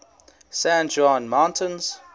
san juan mountains